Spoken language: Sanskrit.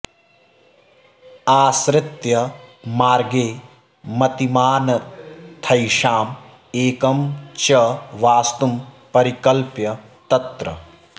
आश्रित्य मार्गे मतिमानथैषाम् एकं च वास्तुं परिकल्प्य तत्र